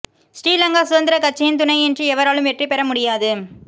ஸ்ரீ லங்கா சுதந்திரக் கட்சியின் துணையின்றி எவராலும் வெற்றி பெற முடியாது